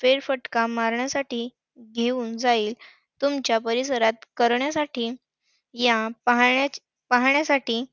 फेरफटका मारण्यासाठी घेऊन जाईल. तुमच्या परिसरात करण्यासाठी पाह~ पाहण्यासाठी